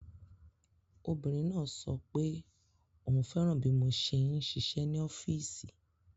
Obìnrin náà sọ pé òun fẹ́ràn bí mo ṣe ń ṣiṣẹ́ ní ọọ́fíìsì